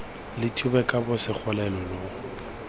lo thube kobo segole lo